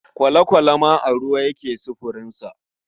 Kwale-kwale ma a ruwa yake sufurinsa.